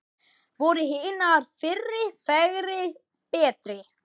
Voru hinar fyrri fegri, betri?